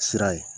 Sira ye